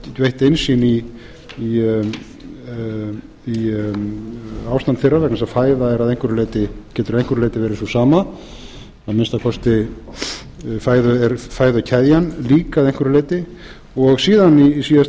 veitt innsýn í ástand þeirra vegna þess að fæða þeirra getur verið að einhverju leyti verið sú sama að minnsta kosti er fæðukeðjan lík að einhverju leyti og síðan í síðasta